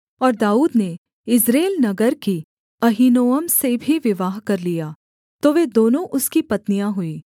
और दाऊद ने यिज्रेल नगर की अहीनोअम से भी विवाह कर लिया तो वे दोनों उसकी पत्नियाँ हुईं